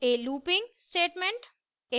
a looping statement